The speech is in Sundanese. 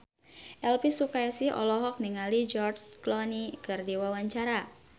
Elvi Sukaesih olohok ningali George Clooney keur diwawancara